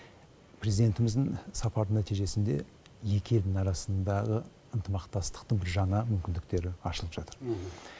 президентіміздің сапары нәтижесінде екі елдің арасындағы ынтымақтастықтың жаңа мүмкіндері ашылып жатыр